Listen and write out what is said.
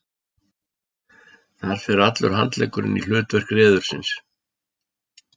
Þar fer allur handleggurinn í hlutverk reðursins.